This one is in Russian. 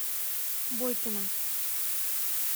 бойкина